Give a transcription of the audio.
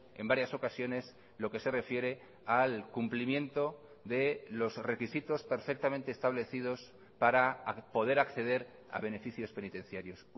en varias ocasiones lo que se refiere al cumplimiento de los requisitos perfectamente establecidos para poder acceder a beneficios penitenciarios